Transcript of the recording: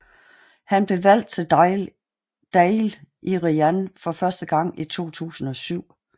Han blev valgt til Dáil Éireann for første gang i 2007